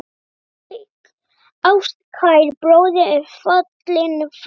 Ástkær bróðir er fallinn frá.